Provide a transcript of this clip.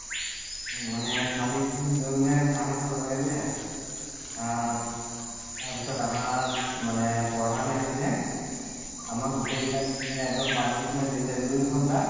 মানে ছোৱালী কেইজনেয়ে গৈ পিনে sir হতক লগাই দিলে আহ তাৰ পিছত আমাৰ মানে প্ৰধান আহি পিনে আমাক গোটেই কিতাকে মানে এক্দম punishment দিছে দুই ঘন্টা